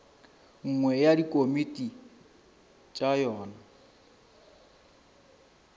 nngwe ya dikomiti tša yona